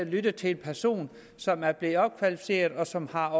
lyttet til en person som er blevet opkvalificeret som har